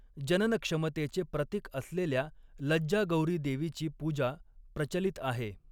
जननक्षमतेचे प्रतिक असलेल्या लज्जा गौरी देवीची पूजा प्रचलित आहे.